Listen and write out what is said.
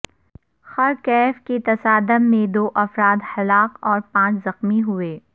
خر کیئف کے تصادم میں دو افراد ہلاک اور پانچ زخمی ہوئے